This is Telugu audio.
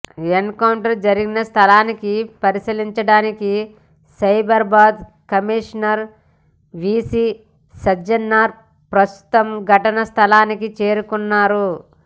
ఎన్కౌంటర్ జరిగిన స్థలాన్ని పరిశీలించడానికి సైబరాబాద్ కమిషనర్ వీసీ సజ్జనార్ ప్రస్తుతం ఘటనా స్థలానికి చేరుకున్నారు